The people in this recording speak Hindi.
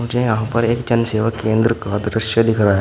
मुझे यहां पर एक जन सेवा केंद्र का दृश्य दिख रहा--